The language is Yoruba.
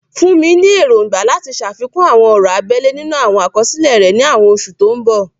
Funmi ní èrògbà láti ṣàfikún àwọn ọ̀rọ̀ abẹ́lẹ̀ nínú àwọn àkọsílẹ̀ rẹ̀ ní àwọn oṣù tó ń bọ̀.